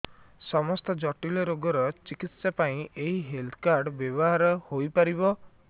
ସମସ୍ତ ଜଟିଳ ରୋଗର ଚିକିତ୍ସା ପାଇଁ ଏହି ହେଲ୍ଥ କାର୍ଡ ବ୍ୟବହାର ହୋଇପାରିବ